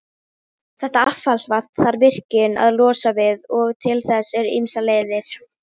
Þau slógust í góðu, hún stakk hann með prjóni, hann kaffærði hana í snjó.